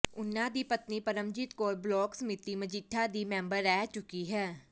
ਉਨ੍ਹਾਂ ਦੀ ਪਤਨੀ ਪਰਮਜੀਤ ਕੌਰ ਬਲਾਕ ਸਮਿਤੀ ਮਜੀਠਾ ਦੀ ਮੈਂਬਰ ਰਹਿ ਚੁੱਕੀ ਹੈ